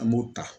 An b'o ta